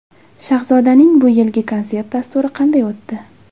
Shahzodaning bu yilgi konsert dasturi qanday o‘tdi?